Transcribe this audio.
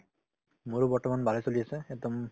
মোৰো বৰ্তমান ভালে চলি আছে একদম